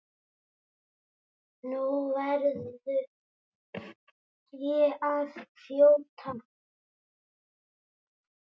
Nú verð ég að þjóta.